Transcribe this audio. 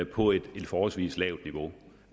på et forholdsvis lavt niveau